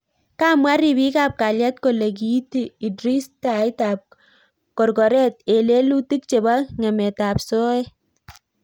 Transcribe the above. Kamwa ripik ap kalyet kolee kiiti Idris Tait ap korkoret eng lelutik chepoo ngemet ap soet